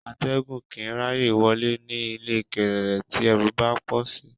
Atégùn kìì ráyè wolé, ní ilé kéreré tí erù bá pòsí.